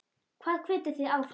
Hvað hvetur þig áfram?